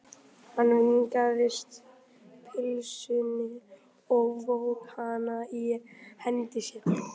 Hann vingsaði pylsunni og vóg hana í hendi sér.